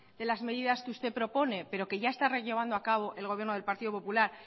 de las medidas que usted propone pero que ya está llevando a cabo el gobierno del partido popular